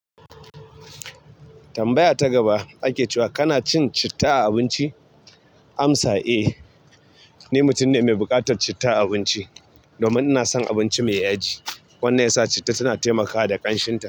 Tambaya ta gaba ake cewa kana cin citta a abinci? Amsa, eh, ni mutum ne mai buƙatar citta a abinci domin ina son abinci mai yaji wanda ya sa citta tana taimakawa da kanshinta.